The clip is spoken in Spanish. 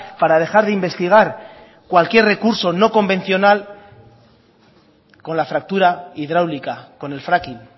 para dejar de investigar cualquier recurso no convencional con la fractura hidráulica con el fracking